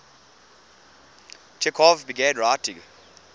chekhov began writing